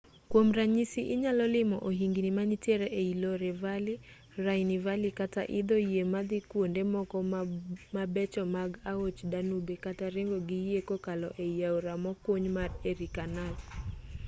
kwom ranyisi inyalo limo ohingni manitiere ei loire valley rhine valley kata idho yie madhi kwonde moko mabecho mag aoch danube kata ringo gi yie kokalo ei aora mokuny mar erie canal